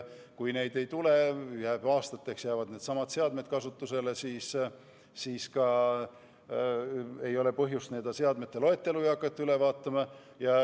Kui neid ei tule ja aastateks jäävad kasutusele needsamad seadmed, siis ei olegi põhjust hakata seadmete loetelu üle vaatama.